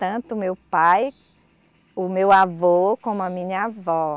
Tanto o meu pai, o meu avô, como a minha avó.